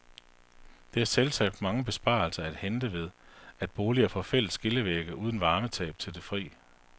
Der er selvsagt mange besparelser at hente ved, at boliger får fælles skillevægge uden varmetab til det fri.